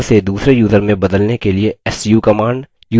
एक यूज़र से दूसरे यूज़र में बदलने के लिए su command